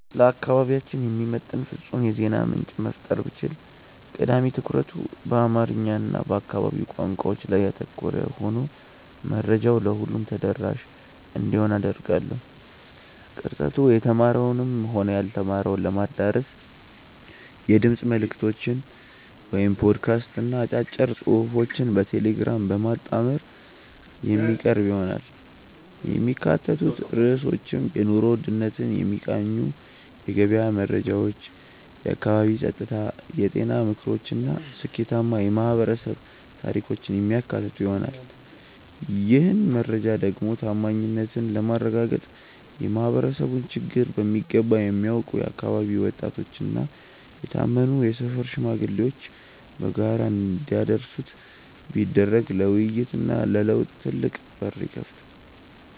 ለአካባቢያችን የሚመጥን ፍጹም የዜና ምንጭ መፍጠር ብችል፣ ቀዳሚ ትኩረቱ በአማርኛ እና በአካባቢው ቋንቋዎች ላይ ያተኮረ ሆኖ መረጃው ለሁሉም ተደራሽ እንዲሆን አደርጋለሁ። ቅርጸቱ የተማረውንም ሆነ ያልተማረውን ለማዳረስ የድምፅ መልዕክቶችን (ፖድካስት) እና አጫጭር ጽሑፎችን በቴሌግራም በማጣመር የሚቀርብ ይሆናል። የሚካተቱት ርዕሶችም የኑሮ ውድነትን የሚቃኙ የገበያ መረጃዎች፣ የአካባቢ ጸጥታ፣ የጤና ምክሮች እና ስኬታማ የማኅበረሰብ ታሪኮችን የሚያካትቱ ይሆናል። ይህን መረጃ ደግሞ ታማኝነትን ለማረጋገጥ የማኅበረሰቡን ችግር በሚገባ የሚያውቁ የአካባቢው ወጣቶችና የታመኑ የሰፈር ሽማግሌዎች በጋራ እንዲያደርሱት ቢደረግ ለውይይትና ለለውጥ ትልቅ በር ይከፍታል።